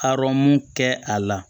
Arɔn kɛ a la